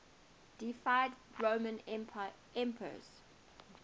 deified roman emperors